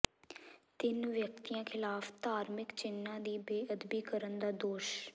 ਤਿੰਨ ਵਿਅਕਤੀਆਂ ਿਖ਼ਲਾਫ਼ ਧਾਰਮਿਕ ਚਿੰਨ੍ਹਾਂ ਦੀ ਬੇਅਦਬੀ ਕਰਨ ਦਾ ਦੋਸ਼